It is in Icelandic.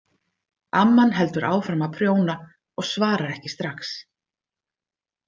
Amman heldur áfram að prjóna og svarar ekki strax.